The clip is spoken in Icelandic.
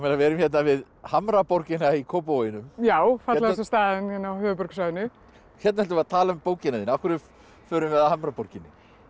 við erum hérna við Hamraborgina í Kópavoginum já fallegasta staðnum á höfuðborgarsvæðinu hérna ætlum við að tala um bókina þína af hverju förum við að Hamraborginni